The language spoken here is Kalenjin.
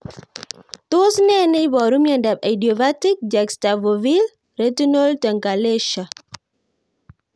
Tos nee neiparu miondop idiopathic juxtafoveal retinal telangiectasia?